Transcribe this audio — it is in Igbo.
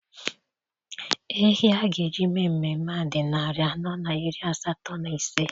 Ehi a ga-eji mee mmemme a dị narị anọ na iri asatọ na ise.